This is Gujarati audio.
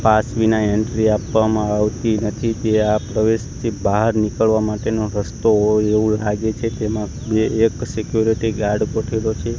પાસ વિના એન્ટ્રી આપવામાં આવતી નથી ત્યાં પ્રવેશથી બાર નીકળવા માટેનો રસ્તો હોય એવુ લાગે છે તેમા બે એક સિક્યુરિટી ગાર્ડ ગોઠેલો છે.